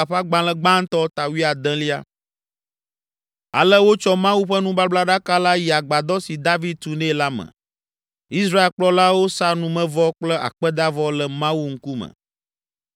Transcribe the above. Ale wotsɔ Mawu ƒe nubablaɖaka la yi Agbadɔ si David tu nɛ la me. Israel kplɔlawo sa numevɔ kple akpedavɔ le Mawu ŋkume.